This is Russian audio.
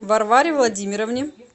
варваре владимировне